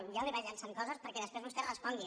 jo li vaig llançant coses perquè després vostè respongui